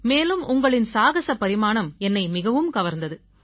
மேலும் உங்களின் சாகஸ பரிமாணம் என்னை மிகவும் கவர்ந்தது